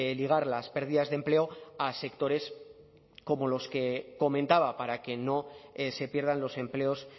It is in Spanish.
ligar las pérdidas de empleo a sectores como los que comentaba para que no se pierdan los empleos